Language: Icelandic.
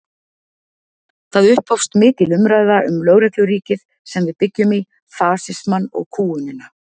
Það upphófst mikil umræða um lögregluríkið sem við byggjum í, fasismann og kúgunina.